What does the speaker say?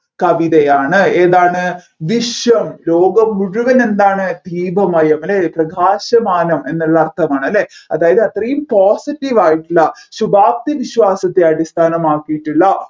കവിതയാണ് ഏതാണ് വിശ്വം ലോകം മുഴുവൻ എന്താണ് ദീപമയം അല്ലെ പ്രകാശമാണ് അല്ലെ എന്നുള്ള അർത്ഥമാണ് അല്ലെ അതായത് അത്രയും positive യായിട്ടുള്ള ശുഭാപ്തി വിശ്വാസത്തെ അടിസ്ഥനമാക്കിയിട്ടുള്ള കവിതയാണ്